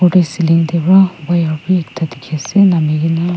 ceiling te wa wire bi ekta dikhiase namikena.